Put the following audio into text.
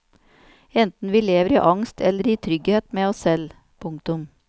Enten vi lever i angst eller i trygghet med oss selv. punktum